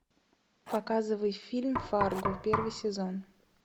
показывай фильм фарго первый сезон